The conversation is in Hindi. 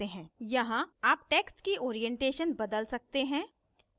यहाँ आप text की orientation बदल सकते हैं